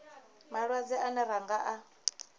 malwadze ane ra nga a